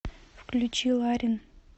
включи ларин